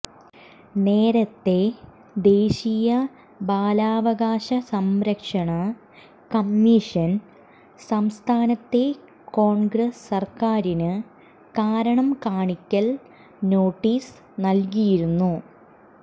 നേരത്തെ ദേശീയ ബാലാവകാശ സംരക്ഷണ കമ്മീഷൻ സംസ്ഥാനത്തെ കോൺഗ്രസ് സർക്കാരിന് കാരണം കാണിക്കൽ നോട്ടീസ് നൽകിയിരുന്നു